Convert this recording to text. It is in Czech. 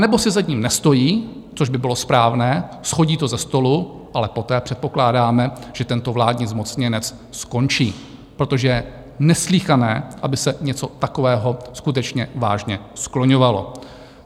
Anebo si za ním nestojí, což by bylo správné, shodí to ze stolu, ale poté předpokládáme, že tento vládní zmocněnec skončí, protože je neslýchané, aby se něco takového skutečně vážně skloňovalo.